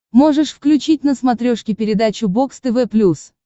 можешь включить на смотрешке передачу бокс тв плюс